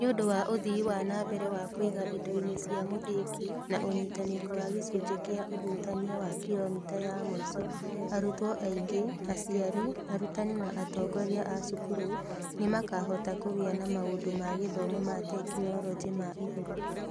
Nĩ ũndũ wa ũthii wa na mbere wa kwĩiga indo-inĩ cia mũthingi na ũnyitanĩri wa gĩcunjĩ kĩa ũhutania wa kilomita ya mũico, arutwo aingĩ, aciari, arutani na atongoria a cukuru nĩ makahota kũgĩa na maũndũ ma gĩthomo ma tekinolonjĩ ma igũrũ.